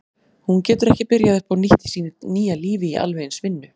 Hún getur ekki byrjað upp á nýtt í sínu nýja lífi í alveg eins vinnu.